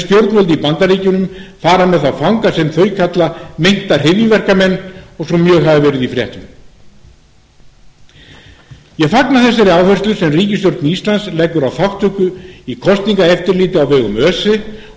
stjórnvöld í bandaríkjunum fara með þá fanga sem þau kalla meinta hryðjuverkamenn og svo mjög hafa verið í fréttum ég fagna þeirri áherslu sem ríkisstjórn íslands leggur á þátttöku í kosningaeftirliti á vegum öse